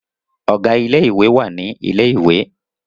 Ọ̀gá ilé ìwé wà ní ilẹ̀ ìwé